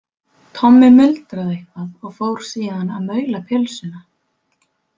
Tommi muldraði eitthvað og fór síðan að maula pylsuna.